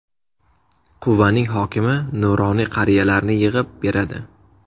Quvaning hokimi nuroniy qariyalarni yig‘ib beradi.